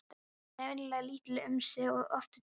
Þau eru venjulega lítil um sig og oft djúp.